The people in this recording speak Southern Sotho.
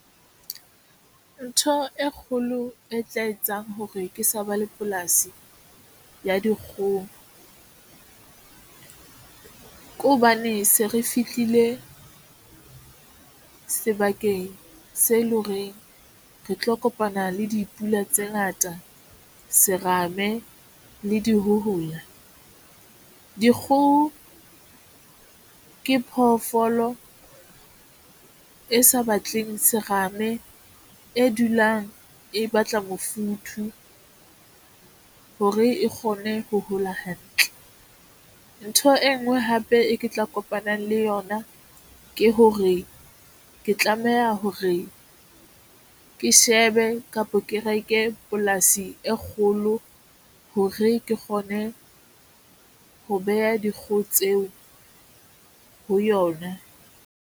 Ntho e kgolo e tla etsang hore ke sa ba le polasi ya dikgoho ke hobane se re fihlile sebakeng se le horeng re tlo kopana le dipula tse ngata, serame le dihohola. Dikgoho ke phoofolo e sa batleng serame e dulang e batla mofuthu hore e kgone ho hola hantle ntho e nngwe hape e ke tla kopanang le yona ke hore ke tlameha hore ke shebe kapa ke reke polasi e kgolo hore ke kgone ho beha dikgoho tseo ho yona.